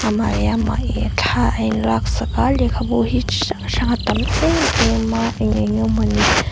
amah leh amah hi thla a in laksak a a lehkhabu hi chi hrang hrang a tam em em a eng enge maw ni--